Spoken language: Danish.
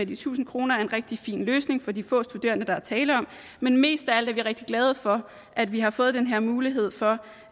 de tusind kroner er en rigtig fin løsning for de få studerende der er tale om men mest af alt er vi rigtig glade for at vi har fået den her mulighed for